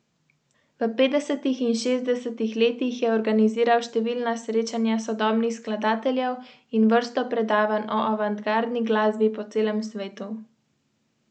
Zdaj sem v precepu.